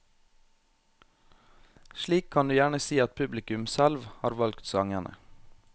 Slik kan du gjerne si at publikum selv har valgt sangene.